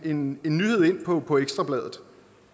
en nyhed ind på på ekstra bladet